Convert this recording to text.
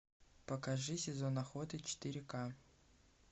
покажи сезон охоты четыре ка